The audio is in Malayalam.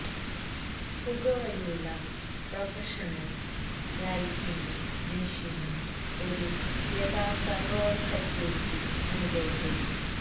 പുകവലിയുള്ള പ്രൊഫഷണൽ ലൈറ്റിംഗും മെഷിനും ഒരു യഥാർത്ഥ റോൾ കച്ചേരിക്ക് അനുഭവപ്പെടും